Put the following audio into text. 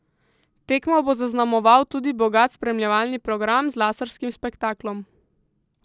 Tekmo bo zaznamoval tudi bogat spremljevalni program z laserskim spektaklom.